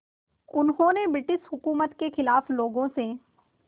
उन्होंने ब्रिटिश हुकूमत के ख़िलाफ़ लोगों से